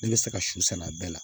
Ne bɛ se ka su sɛnɛ a bɛɛ la